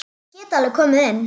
Ég get alveg komið inn.